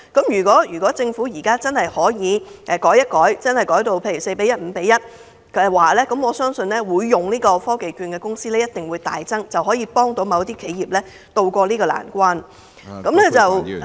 如果政府可以略為更改配對模式，改為 4：1 或 5：1， 我相信使用科技券的公司必定會大增，這樣便可幫助某些企業渡過難關......